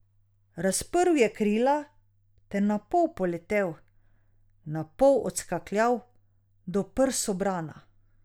Razprl je krila ter na pol poletel, na pol odskakljal do prsobrana.